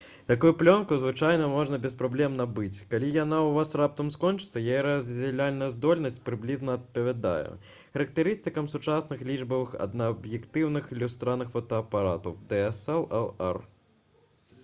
такую плёнку звычайна можна без праблем набыць калі яна ў вас раптам скончыцца. яе раздзяляльная здольнасць прыблізна адпавядае характарыстыкам сучасных лічбавых аднааб'ектыўных люстраных фотаапаратаў dslr